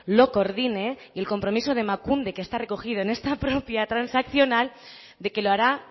lo coordine y el compromiso de emakunde que está recogido en esta propia transaccional de que lo hará